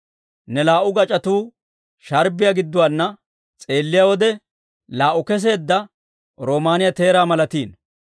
Ne laa"u gac'otuwaa sharbbiyaa gidduwaana s'eelliyaa wode, laa"u kesseedda roomaaniyaa teeraa malatiino.